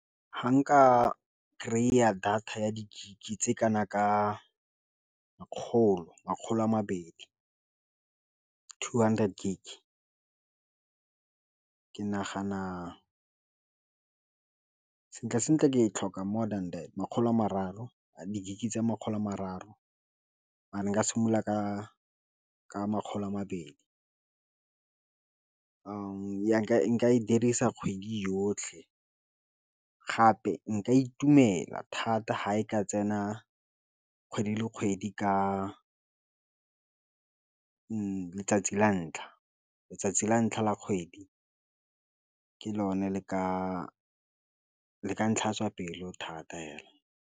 Fa nka kry-a data ya di-gig tse kana ka makgolo a mabedi two hundred gig ke nagana sentle-sentle ke e tlhoka more than that makgolo a mararo a di- gig tsa makgolo a mararo mare nka simolola ka makgolo a mabedi nka e dirisa kgwedi yotlhe gape nka itumela thata ha e ka tsena kgwedi le kgwedi ka letsatsi la ntlha letsatsi la kgwedi ke lone le ka ntlhatswa pelo thata fela.